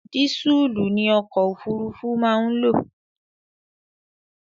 Dísùlù ni ọkò òfurufú má ń lò.